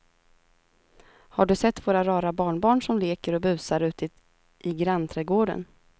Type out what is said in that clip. Har du sett våra rara barnbarn som leker och busar ute i grannträdgården!